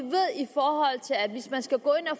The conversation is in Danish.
skal gå ind og